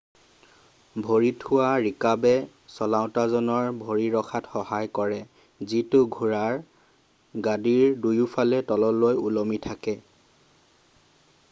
ভৰি থোৱা ৰিকাবে চলাওঁতাজনৰ ভৰি ৰখাত সহায় কৰে যিটো ঘোঁৰাৰ গাদীৰ দুয়োফালে তললৈ ওলমি থাকে